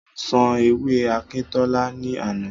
Mo sán ewé Akíntọ́lá ní àná.